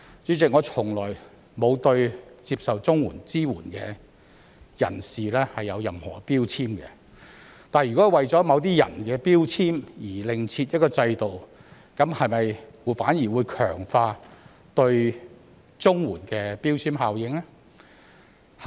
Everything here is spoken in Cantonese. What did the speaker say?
主席，我從來沒有對接受綜援支援的人士有任何標籤，但如果為了某些人的標籤而另設一個制度，這樣會否反而強化對綜援的標籤效應？